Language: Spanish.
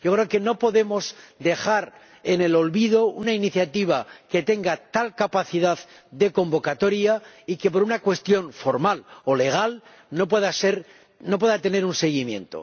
Yo creo que no podemos dejar en el olvido una iniciativa que tenga tal capacidad de convocatoria y que, por una cuestión formal o legal, no pueda tener un seguimiento.